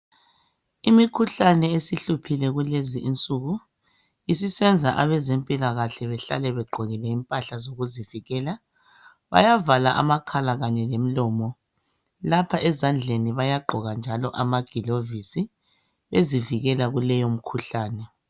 Imikhuhlane esihluphile kulezi insuku isisenza abezempilakahle behlale begqokile impahla zokuzivikela bayavala amakhala lemilomo lapha ezandleni bayagqoka njalo amagilovisi bezivikela kuleyo mikhuhlane.